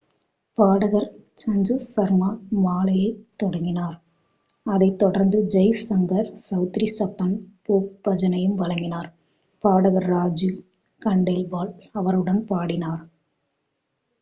பாடகர் சஞ்சு சர்மா மாலையைத் தொடங்கினார் அதைத் தொடர்ந்து ஜெய் ஷங்கர் செளத்ரி சப்பன் போக் பஜனையும் வழங்கினார் பாடகர் ராஜு கண்டேல்வால் அவருடன் பாடினார்